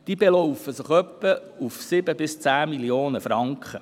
Diese beläuft sich in etwa auf 7–10 Mio. Franken.